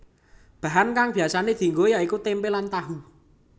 Bahan kang biasané dianggo ya iku tempe lan tahu